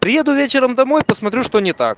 приеду вечером домой посмотрю что не так